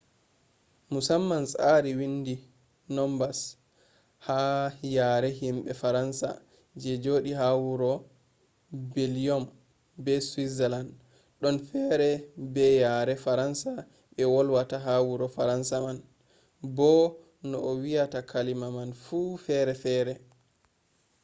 musamman tsari windi nombas ha yare himɓe faransa je joɗi ha wuro beljiyom be switzaland ɗon fere be yare faransa ɓe wolwata ha wuro fransa man bo no a wiyata kalima man fu fere fere